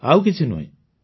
ଆଉ କିଛି ନୁହେଁ